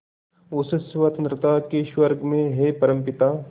उस स्वतंत्रता के स्वर्ग में हे परमपिता